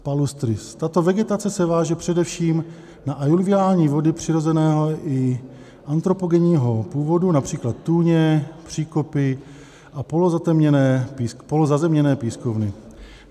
Tato vegetace se váže především na aluviální vody přirozeného i antropogenního původu, například tůně, příkopy a polozazemněné pískovny.